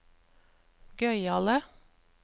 gøyale